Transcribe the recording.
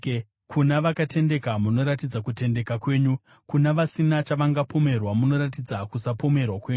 Kuna vakatendeka munoratidza kutendeka kwenyu, kuna vasina chavangapomerwa munoratidza kusapomerwa kwenyu,